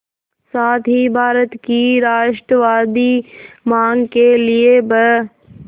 साथ ही भारत की राष्ट्रवादी मांग के लिए ब्